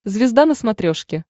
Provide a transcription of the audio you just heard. звезда на смотрешке